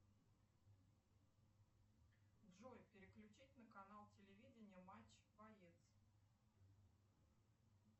джой переключить на канал телевидения матч боец